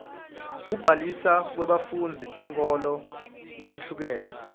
kukhadlina kwebafundzi tinkholo letihlukene